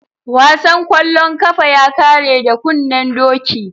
Wasan kwallon kafa ya kare da kunnen doki.